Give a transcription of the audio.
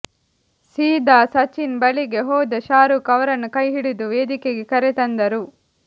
ಸೀದಾ ಸಚಿನ್ ಬಳಿಗೆ ಹೋದ ಶಾರುಖ್ ಅವರನ್ನು ಕೈಹಿಡಿದು ವೇದಿಕೆಗೆ ಕರೆತಂದರು